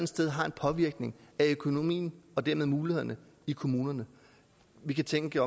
sted har en påvirkning af økonomien og dermed mulighederne i kommunerne vi kan tænke